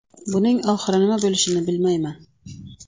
Buning oxiri nima bo‘lishini bilmayman.